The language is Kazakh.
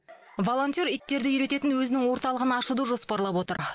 волонтер иттерді үйрететін өзінің орталығын ашуды жоспарлап отыр